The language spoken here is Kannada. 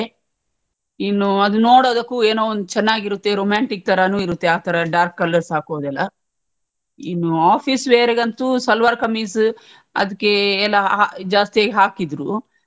ಇನ್ನು ಅದು ನೋಡೋದಕ್ಕೂ ಏನೋ ಒಂದ್ ಚನ್ನಾಗಿರುತ್ತೆ romantic ತರನು ಇರುತ್ತೆ ಆತರ dark colours ಹಾಕೋದೆಲ್ಲಾ, ಇನ್ನು office wear ಗಂತೂ ಸಲ್ವಾರ್ ಕಮೀಸ್ ಅದಿಕ್ಕೆ ಎಲ್ಲ ಜಾಸ್ತಿ ಆಗಿ ಹಾಕಿದ್ರು.